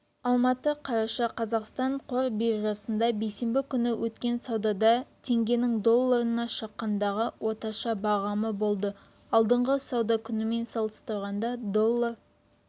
алматы қараша қаз қазақстан қор биржасында бейсенбі күні өткен саудада теңгенің долларына шаққандағы орташа бағамы болды алдыңғы сауда күнімен салыстырғанда доллар